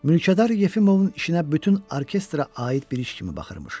Mülkədar Yefimovun işinə bütün orkestra aid bir iş kimi baxırmış.